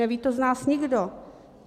Neví to z nás nikdo.